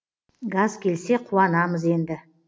газ келсе қуанамыз енді